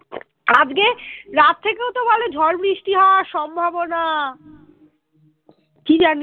আজকে রাত থেকেও তো ভালো ঝড় বৃষ্টি হওয়ার সম্ভাবনা কি জানি